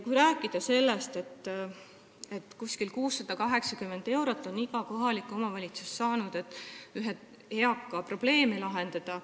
Umbes 680 eurot on iga kohalik omavalitsus saanud selleks, et ühe eaka probleeme lahendada.